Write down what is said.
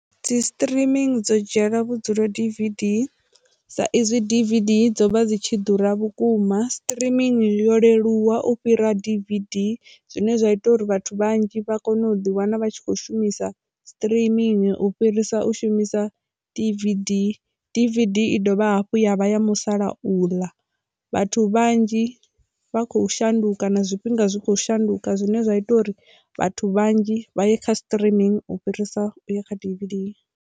Dzi streaming dzo dzhiela vhudzulo D_V_D sa ezwi D_V_D dzo vha dzi tshi ḓura vhukuma streaming yo leluwa u fhira D_V_D zwine zwa ita uri vhathu vhanzhi vha kone u ḓi wana vha tshi kho shumisa streaming u fhirisa u shumisa D_V_D, D_V_D i dovha hafhu ya vha ya musalauḽa vhathu vhanzhi vha kho shandukani zwifhinga zwi kho shanduka zwine zwa ita uri vhathu vhanzhi vha ye kha streaming u fhirisa ya kha D_V_D.